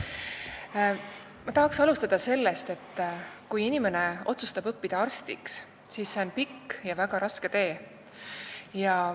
Ma tahaksin alustada sellest, et kui inimene otsustab õppida arstiks, siis see on pikk ja väga raske tee.